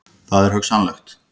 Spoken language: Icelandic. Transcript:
Það er hugsanlegt.